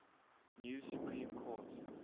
new supreme court